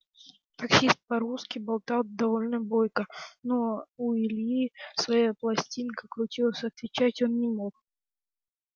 таксист по-русски болтал довольно бойко но у ильи своя пластинка крутилась отвечать он не мог